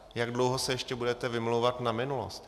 Jak dlouho se ještě budete vymlouvat na minulost?